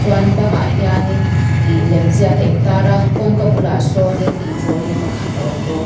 chuan bang ah hian in ih lem ziak a in tar a kawngka bulah sawn in trolley pakhat a awm bawk.